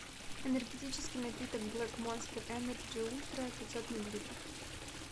энергетический напиток блэк монстр энерджи ультра пятьсот миллилитров